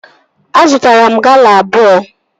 Azụtara m Gala abụọ